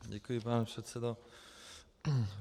Děkuji, pane předsedo.